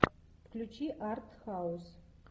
включи арт хаус